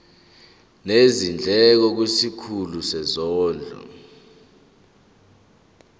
nezindleko kwisikhulu sezondlo